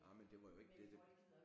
Nej men det var jo ikke det det